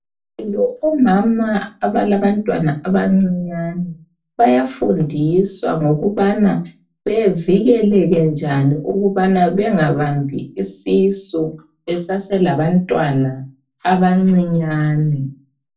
Omama abalabantwana abancinyane bayafundiswa ngokubana bevikeleke njani ukubana bengabambi isisu beseselabantwana abancinyane.